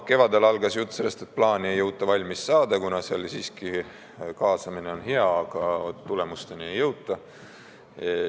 Kevadel algas jutt sellest, et plaani ei jõuta valmis saada, kuna kaasamine on küll hea, aga tulemusteni ei jõuta.